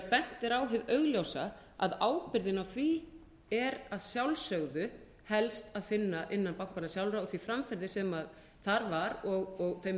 bent er á hið augljósa að ábyrgðina á því er að sjálfsögðu helst að finna innan bankanna sjálfra og því framferði sem þar var og þeim